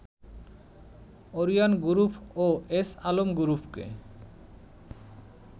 Orion group ও S Alam গ্রুপকে